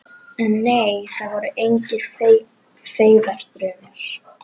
En nei, það voru engir feigðardraumar.